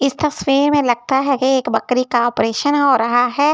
इस तस्वीर में लगता है कि एक बकरी का ऑपरेशन हो रहा है।